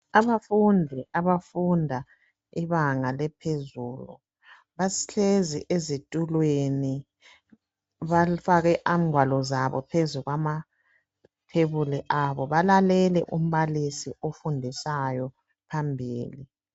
Abafundi abafunda ibanga laphezulu bahlezi ezitulweni bafake ingwalo zabo phezu kwamathebuli abo balalele umbalisi ofundisayo phambili.